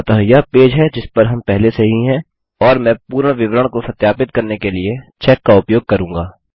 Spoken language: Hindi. अतः यह पेज है जिस पर हम पहले से ही हैं और मैं पूर्ण विवरण को सत्यापित करने के लिए चेक का उपयोग करूँगा